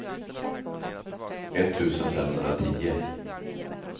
etttusen femhundratio